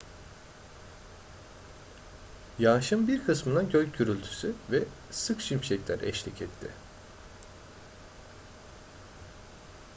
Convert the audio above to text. yağışın bir kısmına gök gürültüsü ve sık şimşekler eşlik etti